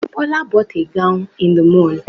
Bola bought a gown in the mall